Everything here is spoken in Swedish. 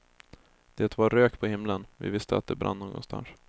Det var rök på himlen, vi visste att det brann någonstans.